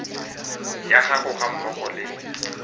ya gago ga mmogo le